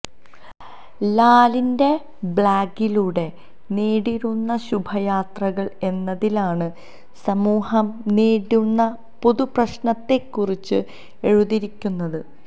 ലാലിന്റെ ബ്ലാഗിലൂടെ നേരുന്നു ശുഭയാത്രകള് എന്നതിലാണ് സമൂഹം നേരിടുന്ന പൊതു പ്രശ്നത്തെക്കുറിച്ച് എഴുതിയിരിക്കുന്നത്